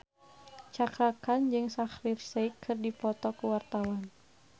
Cakra Khan jeung Shaheer Sheikh keur dipoto ku wartawan